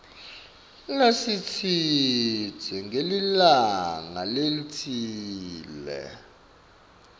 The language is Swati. lesitsite ngelilanga lelitsite